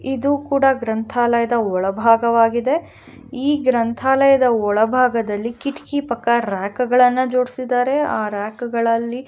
ಇದು ಕೂಡ ಗ್ರಂತಾಲಯದ ಒಳಬಾಗವಾಗಿದೆ ಈ ಗ್ರಂತಾಲಯದ ಒಳಬಾಗದಲ್ಲಿ ಕಿಟಕಿ ಪಕ್ಕ ರ್ಯಾಕ್ ಗಳನ್ನ ಜೋಡಸಿದರೆ ಆ ರ್ಯಾಕ್ ಗಳಲ್ಲಿ --